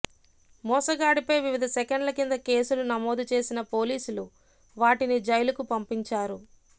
మోసగాడిపై వివిధ సెక్షన్ల కింద కేసులు నమోదుచేసిన పోలీసులు వాటిని జైలుకు పంపించారు